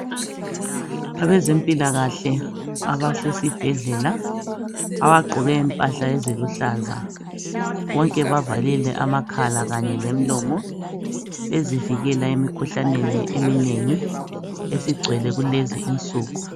Abezempilakahle abasesibhedlela abagqoke impahla eziluhlaza. Bonke bavalile amakhala Kanye lemilomo bezivikela emikhuhlaneni eminengi esigcwele kulezi insuku.